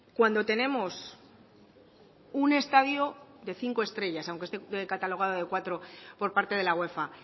cuando tenemos un estadio de cinco estrellas aunque esté catalogado de cuatro por parte de la uefa